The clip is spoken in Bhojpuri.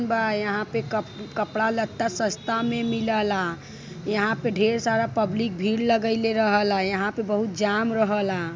यहां पे कप कपड़ा लत्ता सस्ता मे मिल ला यहां पे ढेर सारा पब्लिक भीड़ लागैले रहे लायहां पर बहुत जाम रह ला।